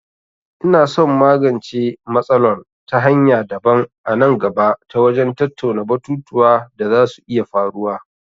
Ina son in magance matsalol ta hanya daban a nan gaba ta wajen tattauna batutuwa da za su iya faruwa.